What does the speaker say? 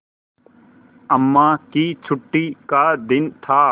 अम्मा की छुट्टी का दिन था